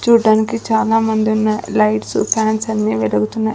చూడటానికి చాలా మంది ఉన్న లైట్స్ ఫ్యాన్స్ అన్ని వెలుగుతున్నాయి.